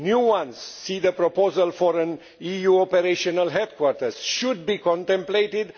new ones see the proposal for an EU operational headquarters should be contemplated